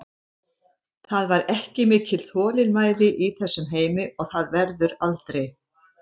Það er ekki mikil þolinmæði í þessum heimi og það verður aldrei.